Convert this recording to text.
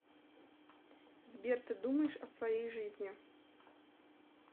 сбер ты думаешь о своей жизни